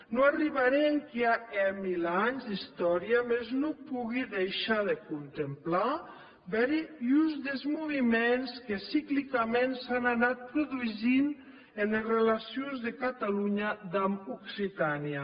non arribarè enquia hè mil ans d’istòria mès non pogui deishar de contemplar bèri uns des movements que ciclicament s’an anat produsint enes relacions de catalonha damb occitània